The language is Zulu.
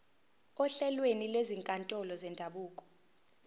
ohlelweni lwezinkantolo zendabuko